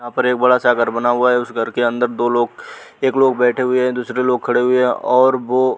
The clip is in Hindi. यहाँ पर एक बड़ा सा घर बना हुआ है। उस घर के अंदर दो लोग एक लोग बैठे हुये हैं और दूसरे लोग खड़े हुये हैं और वो --